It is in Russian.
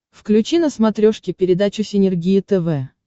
включи на смотрешке передачу синергия тв